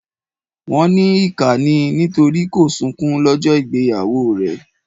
Wọn ní ìkà ni nítorí kò sọkún lọ́jọ́ ìgbéyàwó ẹ̀.